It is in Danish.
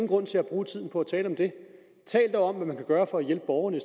grund til at bruge tiden på at tale om det tal dog om hvad man kan gøre for at hjælpe borgerne i